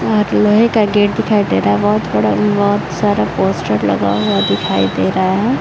यहाँ पे लोहे का गेट दिखाई दे रहा है। बहोत बड़ा बहोत सारा पोस्टर्स लगा हुआ दिखाई दे रहा है।